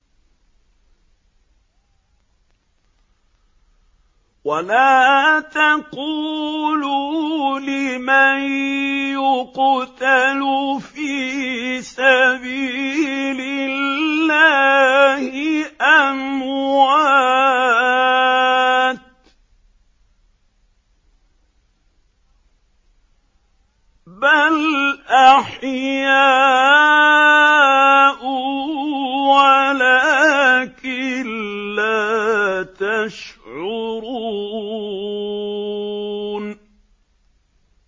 وَلَا تَقُولُوا لِمَن يُقْتَلُ فِي سَبِيلِ اللَّهِ أَمْوَاتٌ ۚ بَلْ أَحْيَاءٌ وَلَٰكِن لَّا تَشْعُرُونَ